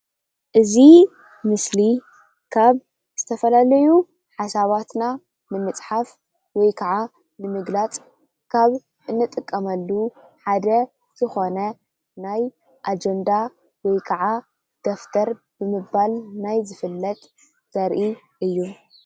እዚ ምስሊ ካብ ዝተፈላለዩ ሓሳባትና ንምፅሓፍ ወይ ከዓ ንምግላፅ ካብ እንጥቀመሉ ሓደ ዝኮነ ናይ ኣጀንዳ ወይ ከዓ ደፍተር ብምባል ናይ ዝፍለጥ ዘርኢ እዩ::